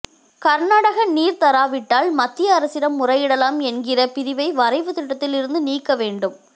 கர்நாடகா நீர் தராவிட்டால் மத்திய அரசிடம் முறையிடலாம் என்கிற பிரிவை வரைவு திட்டத்தில் இருந்து நீக்க வேண்டும்